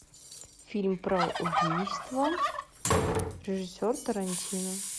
фильм про убийство режиссер тарантино